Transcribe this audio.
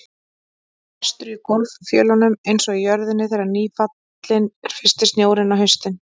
Brestur í gólffjölunum einsog í jörðinni þegar nýfallinn er fyrsti snjórinn á haustin.